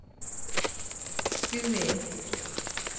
Skui